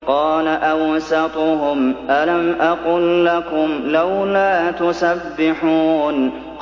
قَالَ أَوْسَطُهُمْ أَلَمْ أَقُل لَّكُمْ لَوْلَا تُسَبِّحُونَ